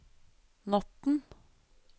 natten